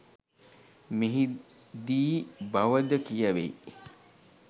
මෙහි දී බව ද කියැවෙයි.